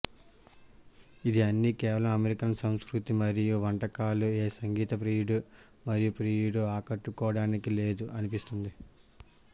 ఇది అన్ని కేవలం అమెరికన్ సంస్కృతి మరియు వంటకాలు ఏ సంగీత ప్రియుడు మరియు ప్రియుడు ఆకట్టుకోవడానికి లేదు అనిపిస్తుంది